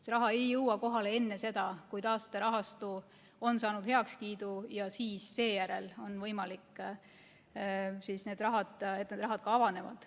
See raha ei jõua kohale enne seda, kui taasterahastu on saanud heakskiidu ja seejärel on võimalik, et need vahendis ka avanevad.